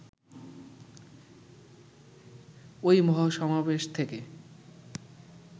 ওই মহাসমাবেশ থেকে